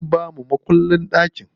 Sun bamu makullin ɗakin.